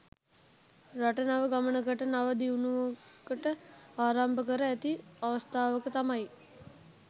රට නව ගමනකට නව දියුණුවකට ආරම්භ කර ඇති අවස්ථාවක තමයි